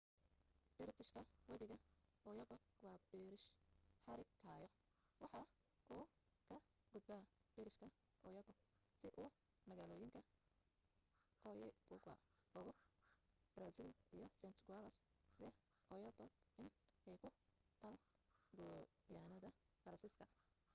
biriishka webiga oyapock waa biriish xarig hayo waxa uu ka gudbaa biriishka oyapock si uu magaalooyinka oiapogue ugu baraasiil iyo saint-georges de l'oyapock in ee ku taal guyaanada faransiiska